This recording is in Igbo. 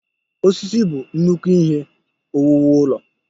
Osisi bụ nnukwu ihe owuwu ụlọ.